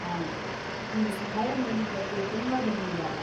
ಆಯ್ತು, ನೀವ್ ಸಹಾಯ ಮಾಡಿದ್ದಕ್ಕೆ ತುಂಬಾ ಧನ್ಯವಾದ.